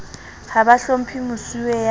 ha ba hlomphe mosuwe ya